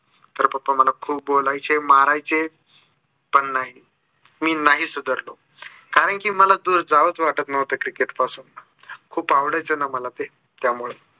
तर papa मला खूप बोलायचे मारायचे पण नाही, मी नाही सुधारलो. कारण की मला जावस वाटत नव्हतं cricket पासून खूप आवडायचं न मला ते त्यामुळे